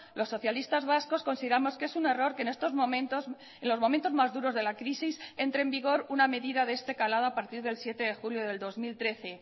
los socialistas vascos consideramos que es un error que en estos momentos en los momentos más duros de la crisis entre en vigor una medida de este calado a partir del siete de julio del dos mil trece